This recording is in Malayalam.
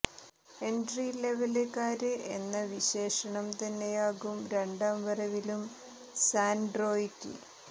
എന്ട്രി ലെവല് കാര് എന്ന വിശേഷണം തന്നെയാകും രണ്ടാം വരവിലും സാന്ട്രോയ്ക്ക്